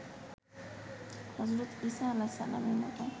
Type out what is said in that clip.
হজরত ইসা আ. -এর মতো